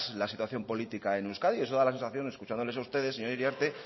la situación política en euskadi eso da la sensación escuchándoles a ustedes señora iriarte